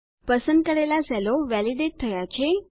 પસંદ કરેલા સેલો વેલીડેટ થયા છે